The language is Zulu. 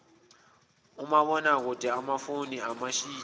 omabonakude amafoni amashidi